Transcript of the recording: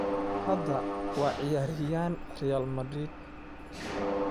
Hadda waa ciyaaryahan Real Madrid.